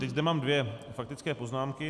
Teď zde mám dvě faktické poznámky.